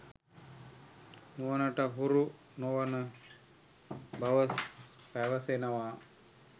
නුවනට හුරු නොවන බව පැවසෙනවා.